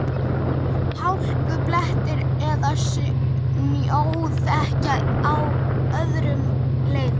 Hálkublettir eða snjóþekja á öðrum leiðum